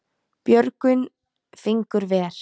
Björgin fingur ver.